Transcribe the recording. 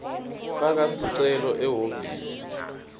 faka sicelo ehhovisi